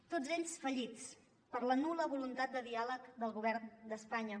tots ells fallits per la nul·la voluntat de diàleg del govern d’espanya